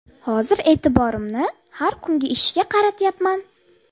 Hozir e’tiborimni har kungi ishga qaratyapman.